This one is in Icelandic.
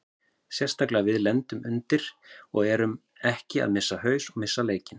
Sérstaklega við lendum undir og við erum ekki að missa haus og missa leikinn.